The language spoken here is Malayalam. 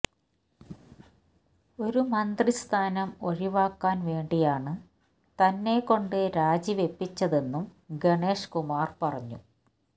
ഒരു മന്ത്രിസ്ഥാനം ഒഴിവാക്കാന് വേണ്ടിയാണ് തന്നെക്കൊണ്ട് രാജിവെപ്പിച്ചതെന്നും ഗണേഷ് കുമാര് പറഞ്ഞു